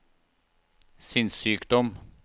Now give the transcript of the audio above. sinnssykdom